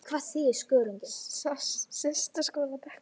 Sest á skólabekk